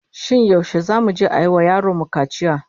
Shin yaushe zamu je a yi wa yaron mu kaciya?